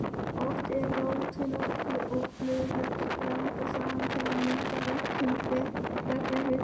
Oft eru rótum og blöðum blandað saman til að nýta verkun beggja hluta sem best.